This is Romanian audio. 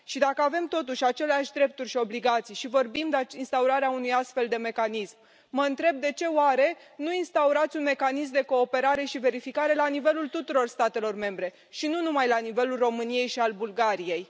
Și dacă avem totuși aceleași drepturi și obligații și vorbim de instaurarea unui astfel de mecanism, mă întreb de ce oare nu instaurați un mecanism de cooperare și verificare la nivelul tuturor statelor membre, și nu numai la nivelul României și al Bulgariei?